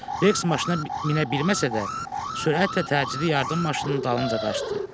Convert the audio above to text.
Reks maşına minə bilməsə də, sürətlə təcili yardım maşınının dalınca qaçdı.